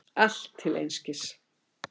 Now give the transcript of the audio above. Allt til einskis.